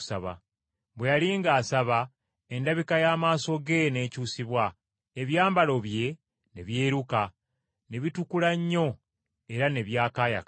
Bwe yali ng’asaba endabika y’amaaso ge n’ekyusibwa, ebyambalo bye ne byeruka ne bitukula nnyo era ne byakaayakana.